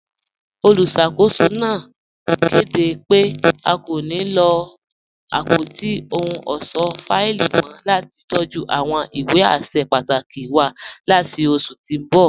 Olúṣakòsò náà kẹdé pẹ̀ à kò ní lọ apọ̀tí òhùn ọṣọ́ fáìlì mọ̀ lati tọ̀jú awọn ìwé àṣẹ pàtàkì wà láti oṣù tí n bọ.